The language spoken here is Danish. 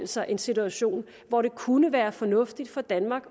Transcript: sig en situation hvor det kunne være fornuftigt for danmark